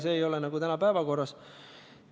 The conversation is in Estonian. See aga ei ole täna päevakorras.